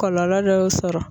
Kɔlɔlɔ dɔw sɔrɔ.